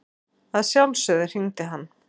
Að sjálfsögðu hringdi hann.